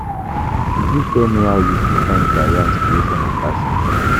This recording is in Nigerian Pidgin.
You fit tell me how you fit find career inspiration and passion?